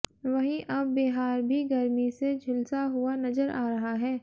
वहीं अब बिहार भी गर्मी से झुलसा हुआ नजर आ रहा है